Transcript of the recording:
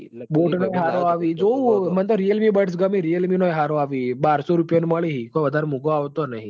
boat નો હરો આવી જોવું અવ મન તો realmebads ગમી realme નો હારો આવી બારશો રૂપિયોન માલી હી કોઈ વધાર મૂગો આવતો નહિ